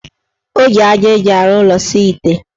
O ji aja eji arụ ụlọ saa ite.